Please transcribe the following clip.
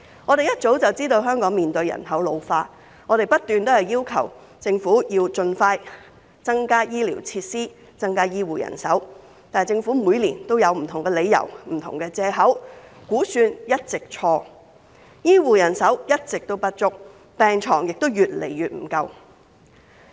我們一早知道香港面對人口老化，因而不斷要求政府盡快增加醫療設施、增加醫護人手，但政府每年都有不同的理由、不同的藉口，估算一直做錯，醫護人手一直不足，病床亦越來越不足夠。